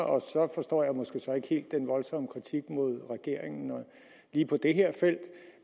og så forstår jeg måske så ikke helt den voldsomme kritik mod regeringen lige på det her felt